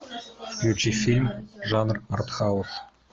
включи фильм жанр арт хаус